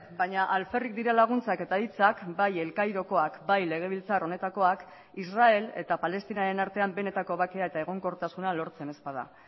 baina alferrik dira laguntzak eta hitzak bai el cairokoak bai legebiltzar honetakoak israel eta palestinaren artean benetako bakea eta egonkortasuna lortzen ez bada